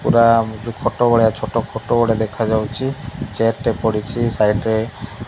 ପୁରା ନିଜ ଫଟୋ ଭଳିଆ ଛୋଟ ଫଟୋ ଗୋଟେ ଦେଖାଯାଉଛି ଚେୟାର ଟେ ପଡ଼ିଛି ସାଇଟ୍ ରେ।